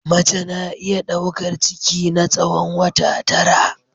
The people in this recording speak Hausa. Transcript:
Mace na iya daukar ciki na tsawon wata tara.